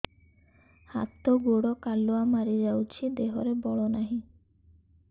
ହାତ ଗୋଡ଼ କାଲୁଆ ମାରି ଯାଉଛି ଦେହରେ ବଳ ନାହିଁ